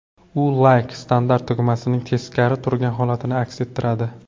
U Like standart tugmasining teskari turgan holatini aks ettiradi.